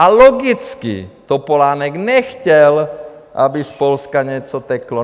A logicky Topolánek nechtěl, aby z Polska něco teklo.